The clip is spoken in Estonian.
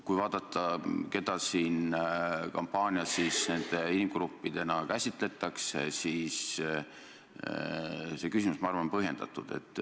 Kui vaadata, keda siin kampaanias nende inimgruppidena käsitletakse, siis see küsimus on minu arvates põhjendatud.